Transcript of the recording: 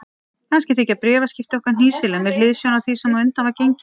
Kannski þykja bréfaskipti okkar hnýsileg með hliðsjón af því sem á undan var gengið.